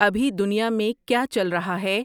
ابھی دنیا میں کیا چل رہا ہے